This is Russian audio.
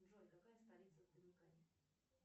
джой какая столица в доминикане